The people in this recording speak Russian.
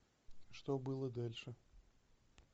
что было дальше